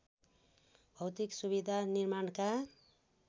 भौतिक सुविधा निर्माणका